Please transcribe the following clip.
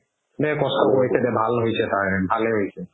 দে কষ্ট কৰি দে ভাল হৈছে তাৰ ভালে হৈছে